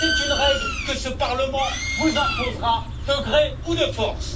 c'est une règle que ce Parlement vous imposera de gré ou de force.